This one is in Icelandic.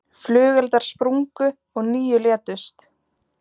Flugeldar sprungu og níu létust